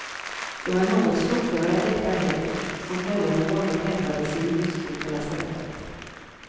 Det var en något slokörad äkta hälft, som följande morgon hämtade sin hustru på lasarettet.